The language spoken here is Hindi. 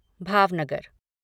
भावनगर